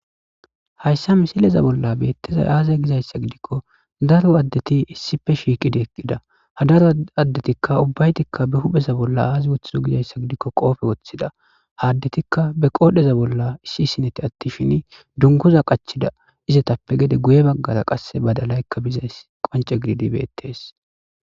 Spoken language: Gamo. hayssa misileza bolla beettezay aazay gizayssa gidikko daro addeti issife shiiqidi eqqida ha daro addetikka ubbaytikka be hupheza bolla aazi woththizo gizayssa gidikko qoofe woththida haaddetikka be qoodheza bolla issi sineti attishin dunkuza qachida izetappe gede guye baggara qasse badalaykka bizays qonce gididi beettes